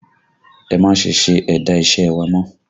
Ẹ má ṣe se ẹ̀dà iṣẹ́ ẹ wa mọ́!